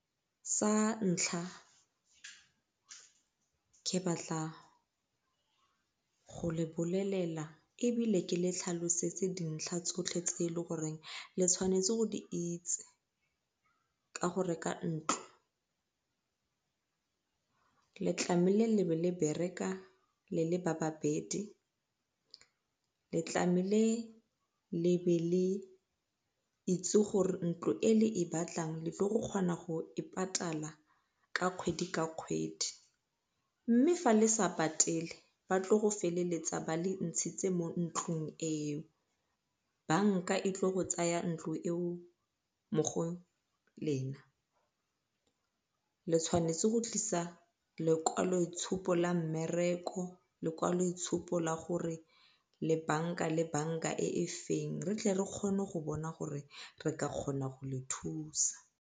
Sa ntlha ke batla go le bolelela ebile ke le tlhalosetse dintlha tsotlhe tse e le goreng le tshwanetse go di itse ka go reka ntlo. Le le be le bereka le le ba babedi, le le be le itse gore ntlo e le e batlang le tlile go kgona go e patala ka kgwedi ka kgwedi mme fa le sa patele batlile go feleletsa ba le ntshitse mo ntlung eo banka e tlile go tsaya ntlo eo mo go lena. Le tshwanetse go tlisa lekwalo itshupo la mmereko, lekwalo itshupo la gore le banka le banka e feng re tle re kgone go bona gore re ka kgona go le thusa.